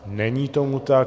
Není tomu tak.